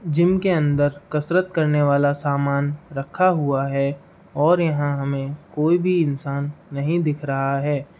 Gym के अंदर कसरत करने वाला सामान रखा हुआ है और यहाँ हमें कोई भी इन्सान नही दिख रहा है।